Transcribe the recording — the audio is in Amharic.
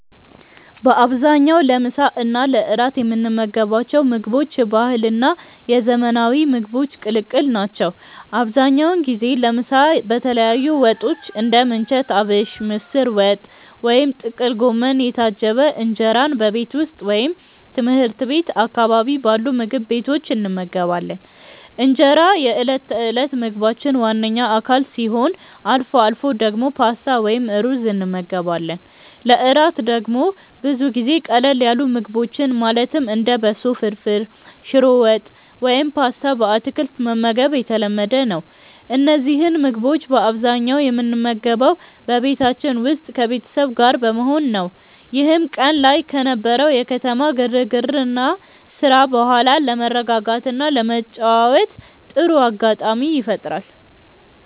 በአብዛኛው ለምሳ እና ለእራት የምንመገባቸው ምግቦች የባህልና የዘመናዊ ምግቦች ቅልቅል ናቸው። አብዛኛውን ጊዜ ለምሳ በተለያዩ ወጦች (እንደ ምንቸት አቢሽ፣ ምስር ወጥ ወይም ጥቅል ጎመን) የታጀበ እንጀራን በቤት ውስጥ ወይም ትምህርት ቤት አካባቢ ባሉ ምግብ ቤቶች እንመገባለን። እንጀራ የዕለት ተዕለት ምግባችን ዋነኛ አካል ሲሆን፣ አልፎ አልፎ ደግሞ ፓስታ ወይም ሩዝ እንመገባለን። ለእራት ደግሞ ብዙ ጊዜ ቀለል ያሉ ምግቦችን ማለትም እንደ በሶ ፍርፍር፣ ሽሮ ወጥ ወይም ፓስታ በአትክልት መመገብ የተለመደ ነው። እነዚህን ምግቦች በአብዛኛው የምንመገበው በቤታችን ውስጥ ከቤተሰብ ጋር በመሆን ነው፤ ይህም ቀን ላይ ከነበረው የከተማ ግርግርና ስራ በኋላ ለመረጋጋትና ለመጨዋወት ጥሩ አጋጣሚ ይፈጥራል።